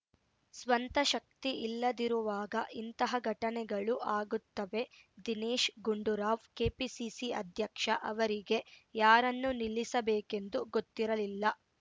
ಸ್ವಂತ ಶಕ್ತಿಯಿಲ್ಲದಿರುವಾಗ ಇಂತಹ ಘಟನೆಗಳು ಆಗುತ್ತವೆ ದಿನೇಶ್ ಗುಂಡೂರಾವ್‌ ಕೆಪಿಸಿಸಿ ಅಧ್ಯಕ್ಷ ಅವರಿಗೆ ಯಾರನ್ನು ನಿಲ್ಲಿಸಬೇಕೆಂದು ಗೊತ್ತಿರಲಿಲ್ಲ